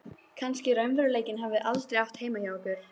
Kannski raunveruleikinn hafi aldrei átt heima hjá okkur.